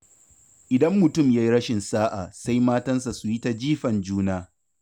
Idan mutum ya yi rashin sa'a, sai matansa su yi ta jifan juna.